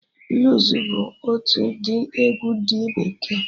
Bluus bụ otu ụdị egwu ndị bekee